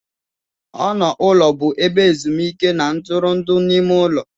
Ọnụ ụlọ bụ ebe ezumuike na ntụrụndụ n'ime ụlọ.